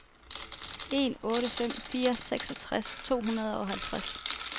en otte fem fire seksogtres to hundrede og halvtreds